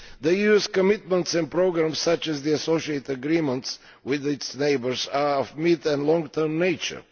The EU's commitments and programmes, such as the association agreements with its neighbours, are of mid and long term nature.